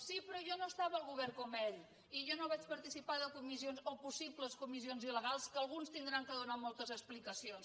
sí però jo no estava al govern com ell i jo no vaig participar de comissions o possibles comissions il·legals que alguns hauran de donar moltes explica·cions